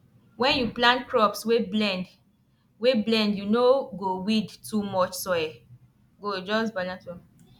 when you plant crops wey blend wey blend you no go weed too much soil go just balance well